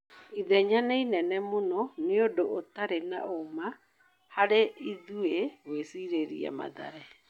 "Ithenya nĩ inene mũno.. ni ũndũ utarĩ na ũma harĩ ithuĩ gwĩcirĩria Mathare. "